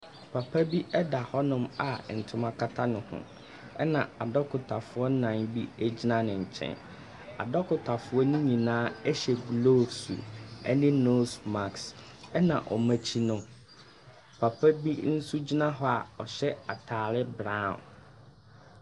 Papa bi da hɔnom a ntoma kata ne ho na adɔkotafoɔ nnan bi gyina ne nkyɛn, adɔkotafo ne nyinaa hyɛ gloves ne nose mask, na wɔn akyi no, papa bi nso gyina hɔ a ɔhyɛ ataare brown.